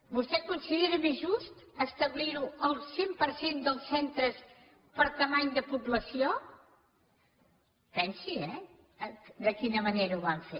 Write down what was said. vostè considera més just establir ho al cent per cent dels centres per dimensió de població pensi ho eh de quina manera ho van fer